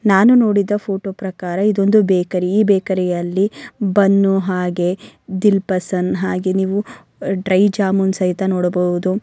ನಾನು ನೋಡಿದ ಪ್ರಕಾರ ಇದು ಒಂದು ಬೇಕರಿ ಈ ಬೇಕರಿ ಯಲ್ಲಿ ಬನ್ನು ಹಾಗೆ ದಿಲ್ ಪಸಂದ್ ಹಾಗೆ ನೀವು ಡ್ರೈ ಜಾಮೂನ್ ಸಹ ನೋಡಬಹುದು.